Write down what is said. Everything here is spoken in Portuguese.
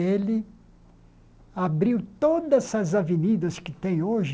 Ele abriu todas as avenidas que tem hoje